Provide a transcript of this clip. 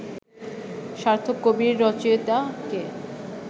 সার্থক কবির রচয়িতা কে